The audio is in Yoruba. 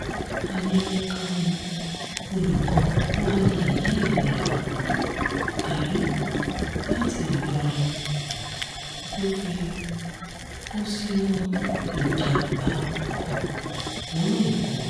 ayẹyẹ kan ni olùkọ́ kwayi yìí ń lọọ́ darí láti ìlọrin tó fi kú sínú ìjàmàbá ọkọ̀ lọ́nà èkó